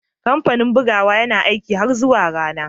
Kamfanin bugawa yana aiki har zuwa ranar